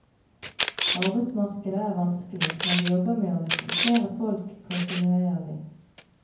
Arbeidsmarkedet er vanskelig, men vi jobber med å rekruttere folk kontinuerlig.